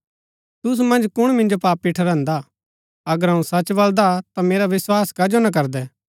तूसु मन्ज कुण मिन्जो पापी ठहरान्दा अगर अऊँ सच बलदा ता मेरा विस्वास कजो ना करदै